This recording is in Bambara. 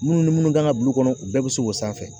Minnu ni minnu kan ka bulu kɔnɔ u bɛɛ bɛ se k'o sanfɛ